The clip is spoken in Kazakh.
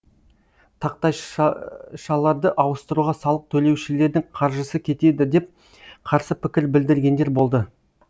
тақтайшаларды ауыстыруға салық төлеушілердің қаржысы кетеді деп қарсы пікір білдіргендер болды